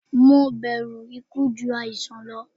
Mo bẹru iku ju aisan lọ